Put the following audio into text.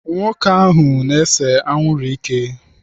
Ahụ na-ese anwụrụ ike.